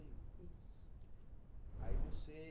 e um. Isso. Aí você